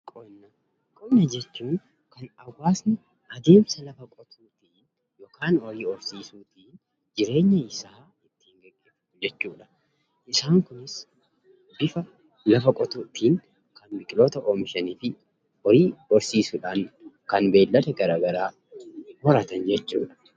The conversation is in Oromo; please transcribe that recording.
Qonna jechuun kan hawaasni adeemsa lafa qotuutiin yookaan horii horsiisuutiin jireenya isaa ittiin gaggeeffatu jechuudha. Isaan kunis bifa lafa qotuutiin kan biqiloota oomishuutiin, horii horsiisuutiin, kan beeylada garaa garaa horatan jechuudha.